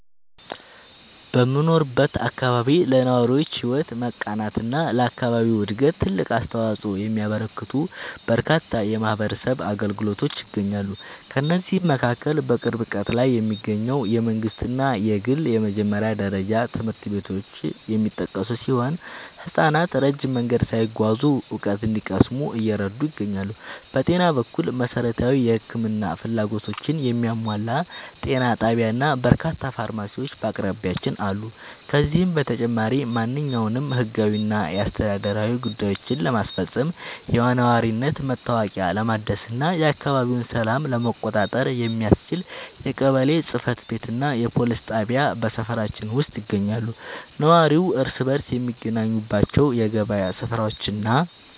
በምኖርበት አካባቢ ለነዋሪዎች ሕይወት መቃናትና ለአካባቢው ዕድገት ትልቅ አስተዋፅኦ የሚያበረክቱ በርካታ የማኅበረሰብ አገልግሎቶች ይገኛሉ። ከእነዚህም መካከል በቅርብ ርቀት ላይ የሚገኙ የመንግሥትና የግል የመጀመሪያ ደረጃ ትምህርት ቤቶች የሚጠቀሱ ሲሆን፣ ሕፃናት ረጅም መንገድ ሳይጓዙ እውቀት እንዲቀስሙ እየረዱ ይገኛሉ። በጤና በኩል፣ መሠረታዊ የሕክምና ፍላጎቶችን የሚያሟላ ጤና ጣቢያና በርካታ ፋርማሲዎች በአቅራቢያችን አሉ። ከዚህም በተጨማሪ፣ ማንኛውንም ሕጋዊና አስተዳደራዊ ጉዳዮችን ለማስፈጸም፣ የነዋሪነት መታወቂያ ለማደስና የአካባቢውን ሰላም ለመቆጣጠር የሚያስችል የቀበሌ ጽሕፈት ቤትና የፖሊስ ጣቢያ በሰፈራችን ውስጥ ይገኛሉ። ነዋሪው እርስ በርስ የሚገናኝባቸው የገበያ ሥፍራዎችና